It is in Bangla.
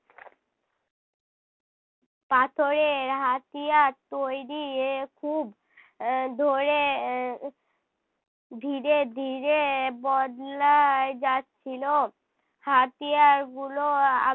পাথরের হাতিয়ার তৈরী এ খুব আহ ধরে ধীরে ধীরে বদলায় যাচ্ছিল। হাতিয়ার গুলো